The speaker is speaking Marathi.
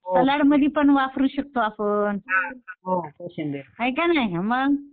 मध्ये पण वापरू शकतो आपण हाय का नाही मग